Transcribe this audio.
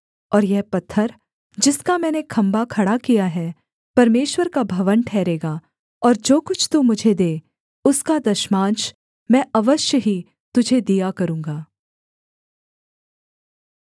और यह पत्थर जिसका मैंने खम्भा खड़ा किया है परमेश्वर का भवन ठहरेगा और जो कुछ तू मुझे दे उसका दशमांश मैं अवश्य ही तुझे दिया करूँगा